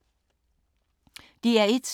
DR1